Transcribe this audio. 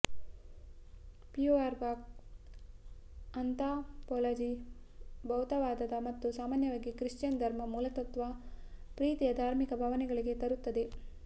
ಫ್ಯೂಅರ್ ಬಾಕ್ anthropology ಭೌತವಾದದ ಮತ್ತು ಸಾಮಾನ್ಯವಾಗಿ ಕ್ರಿಶ್ಚಿಯನ್ ಧರ್ಮ ಮೂಲತತ್ವ ಪ್ರೀತಿಯ ಧಾರ್ಮಿಕ ಭಾವನೆಗಳಿಗೆ ತರುತ್ತದೆ